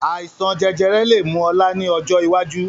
Àìsàn jẹjẹrẹ lè mú ọ̀la ni ọjọ́ iwájú